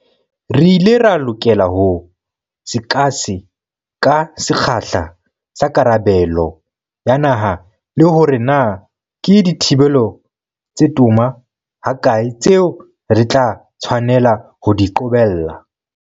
Re ile ra lokela ho sekase-ka sekgahla sa karabelo ya naha le hore na ke dithibelo tse toma hakae tseo re tla tshwanela ho di qobella.